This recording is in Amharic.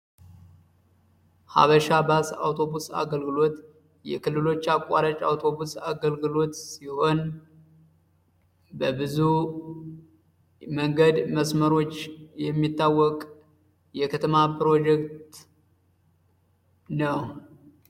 ሐበሻ ባስ አውቶቡስ አገልግሎት የክልሎች አቋራጭ አውቶቡስ አገልግሎት ሲሆን፤ በብዙ መንገድ መስመሮች የሚታወቅ የከተማ ፕሮጀክት ነው።